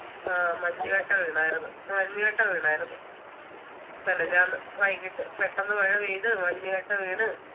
ആ മഞ്ഞുകട്ട വീണാരുന്നു മഞ്ഞുകട്ട വീണാരുന്നു മിനിഞ്ഞാന്ന് വൈകീട്ട് പെട്ടന്ന് മഴ പെയ്ത് മഞ്ഞുകട്ട വീണ്